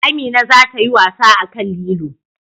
Amina za ta yi wasa akan lilo